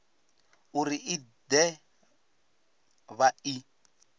uri i de vha i